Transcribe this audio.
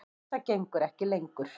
Þetta gengur ekki lengur.